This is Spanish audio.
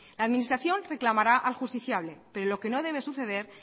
la administración reclamará al justiciable pero lo que no debe suceder